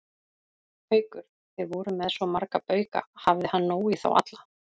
Haukur: Þið voruð með svo marga bauka, hafði hann nóg í þá alla?